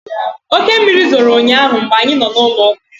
Oke mmiri zoro ụnyaahụ mgbe anyị nọ n'ụlọụka